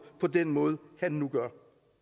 på den måde han nu gør